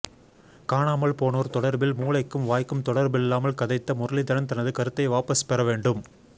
காணாமல் போனோர் தொடர்பில் மூளைக்கும் வாய்க்கும் தொடர்பில்லாமல் கதைத்த முரளிதரன் தனது கருத்தை வாபஸ் பெற வேண்டும்